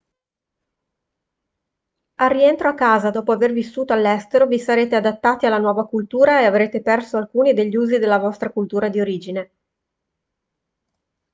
al rientro a casa dopo aver vissuto all'estero vi sarete adattati alla nuova cultura e avrete perso alcuni degli usi della vostra cultura di origine